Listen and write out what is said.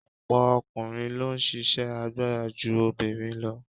Ọ̀pọ̀ ọkùnrin ló ń ṣisẹ́ agbára ju obìnrin lọ.